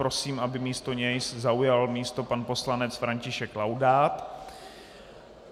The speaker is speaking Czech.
Prosím, aby místo něj zaujal místo pan poslanec František Laudát.